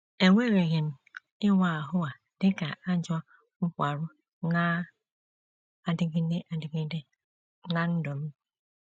Ewereghị m ịwa ahụ a dị ka ajọ nkwarụ na - adịgide adịgide ná ndụ m.